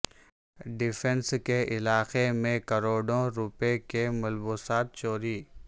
defence کے علاقے میں کروڑوں روپے کے ملبوسات چوری